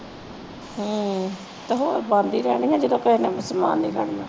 ਹਮਮ ਹੋਰ ਬੰਦ ਹੀ ਰਹਿਣੀ ਆ ਜਦੋ ਕਿਸੇ ਨੇ ਓਹਨੂੰ ਚਲਾਨ ਨਹੀਂ ਦੇਣੀ